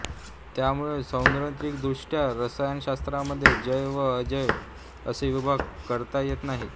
त्यामुळे सैद्धांतिक दृष्ट्या रसायनशास्त्राचे जैव व अजैव असे विभाग करता येत नाहीत